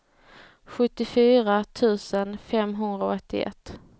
sjuttiofyra tusen femhundraåttioett